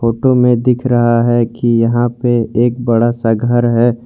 Photo में दिख रहा है कि यहां पे एक बड़ा सा घर है।